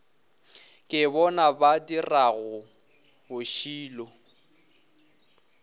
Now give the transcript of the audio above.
ke bona ba dirago bošilo